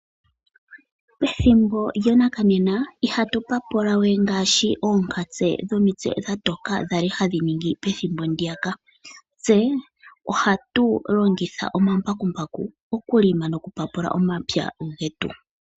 Pethimbo lyanakanena ihatu papula we ngaashi oonkatse dhomitse dha toka dhali hadhi ningi pethimbo ndiya ka, tse ohatu longitha omambakumbaku oku longa noku papula omapya getu.